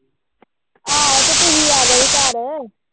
ਆਹੋ ਤੇ ਤੁਸੀ ਆਗੇ ਸੀ ਘਰ